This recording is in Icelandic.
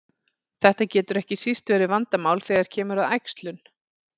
Þetta getur ekki síst verið vandamál þegar kemur að æxlun.